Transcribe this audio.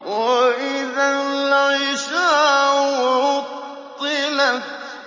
وَإِذَا الْعِشَارُ عُطِّلَتْ